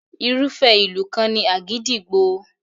Irúfẹ́ ìlù kan ni àgídìgbo.